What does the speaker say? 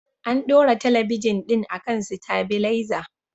An ɗora talabijin ɗin akan sitabilaiza